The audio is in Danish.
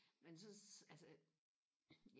men så altså